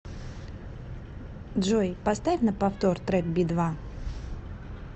джой поставь на повтор трек би два